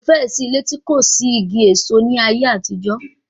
Kò fẹ́ẹ̀ sí ilé tí kò sí igi èso ní àtijọ́